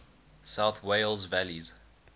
south wales valleys